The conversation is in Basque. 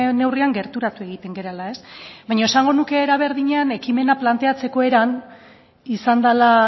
neurrian gerturatu egiten garela baina esango nuke era berdinean ekimena planteatzeko eran izan dela